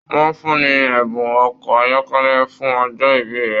Wọn fún ní ẹbùn ọkọ ayọkẹlẹ fún ọjọ ìbí rẹ.